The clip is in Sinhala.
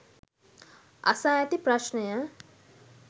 අසා ඇති ප්‍රශ්නය